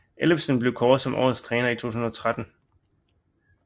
Ellefsen blev kåret som årest træner i 2013